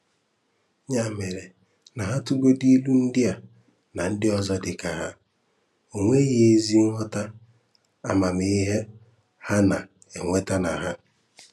Ya mere na ha tụgodu ilu ndị a na ndị ọzọ dịka ha, o nweghii ezi nghọta amamihe ha na-enweta na ha.